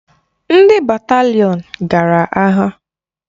Ndị batalịon gara agha.